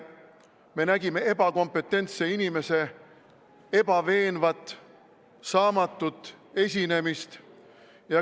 Me nägime ebakompetentse inimese ebaveenvat, saamatut esinemist.